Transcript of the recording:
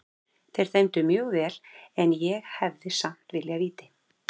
Þeir dæmdu mjög vel en ég hefði samt viljað víti.